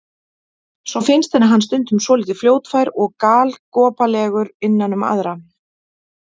Svo finnst henni hann stundum svolítið fljótfær og galgopalegur innan um aðra.